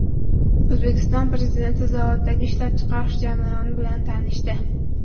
O‘zbekiston Prezidenti zavoddagi ishlab chiqarish jarayoni bilan tanishdi.